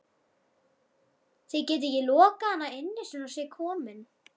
Þið getið ekki lokað hann inni svona á sig kominn